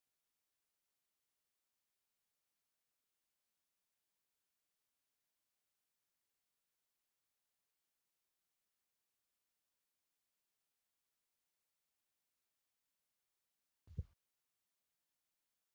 Iddoo kanatti biqilaan baay'inaan ooyiruu irratti facaa'ee jiruu argaa jirra. biqilaan kun bifti isaa magariisa akka tahee dachee kana magariisee bareechee jira. biqilaan kun jiruu fi jireenya dhala namaa keessatti faayidaa guddaa qaba